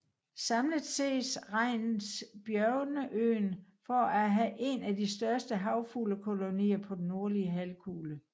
Samlet set regnes Bjørneøen for at have en af de største havfuglekolonier på den nordlige halvkugle